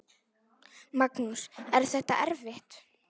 Magnús: Er þetta erfitt?